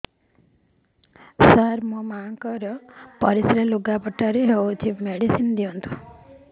ସାର ମୋର ମାଆଙ୍କର ପରିସ୍ରା ଲୁଗାପଟା ରେ ହଉଚି ମେଡିସିନ ଦିଅନ୍ତୁ